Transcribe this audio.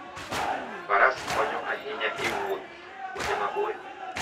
Faras konyo ahinya e wuoth kuonde maboyo.